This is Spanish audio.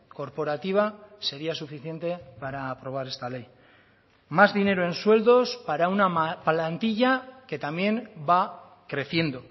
corporativa sería suficiente para aprobar esta ley más dinero en sueldos para una plantilla que también va creciendo